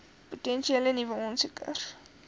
potensiële nuwe aansoekers